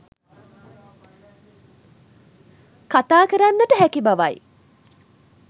කතාකරන්නට හැකි බවයි.